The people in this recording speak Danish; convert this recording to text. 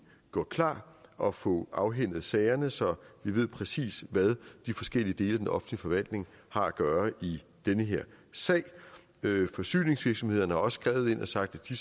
gjort klar og få afhændet sagerne så vi præcis ved hvad de forskellige dele af den offentlige forvaltning har at gøre i den her sag forsyningsvirksomhederne har også skrevet ind og sagt at de